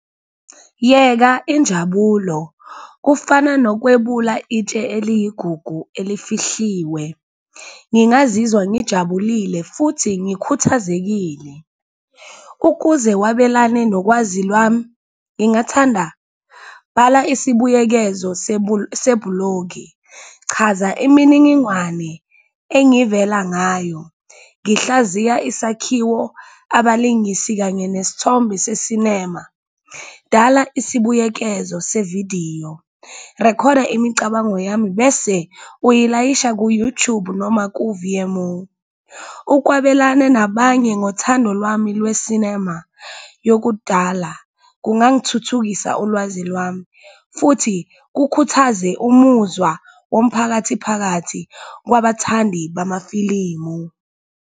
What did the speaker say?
Yeka injabulo kufana nokwebula itshe eliyigugu elifihliwe. Ngingazizwa ngijabulile futhi ngikhuthazekile. Ukuze wabelane nokwazi lwami ngingathanda, bhala isibuyekezo sebhulogi, chaza imininingwane engivela ngayo ngihlaziya isakhiwo, abalingisi, kanye nesithombe se-cinema. Dala isibuyekezo sevidiyo, rekhoda imicabango yami bese uyilayisha ku-YouTube noma ku-Vimeo. Ukwabelane nabanye ngothando lwami lwe-cinema yokudala kungangithuthukisa ulwazi lwami futhi kukhuthaze umuzwa womphakathi phakathi kwabathandi bamafilimu.